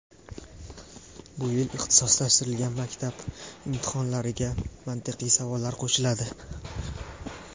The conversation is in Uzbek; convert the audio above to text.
Bu yil ixtisoslashtirilgan maktab imtihonlariga mantiqiy savollar ham qo‘shiladi.